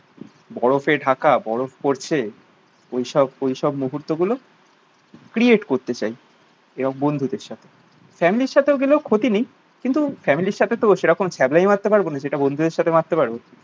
বরফে ঢাকা বরফ পড়ছে ঐসব ঐসব মুহূর্ত গুলো ক্রিয়েট করতে চাই এবং বন্ধুদের সাথে। ফ্যামিলির সাথে গেলেও ক্ষতি নেই। কিন্তু ফ্যামিলির সাথে তো সেরকম ছ্যাবলামি মারতে পারবো না যেটা বন্ধুদের সাথে মারতে পারবো।